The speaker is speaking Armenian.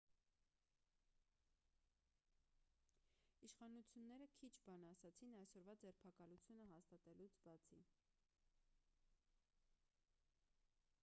իշխանությունները քիչ բան ասացին այսօրվա ձերբակալությունը հաստատելուց բացի